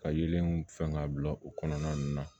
Ka yelenw fɛn ka bila u kɔnɔna ninnu na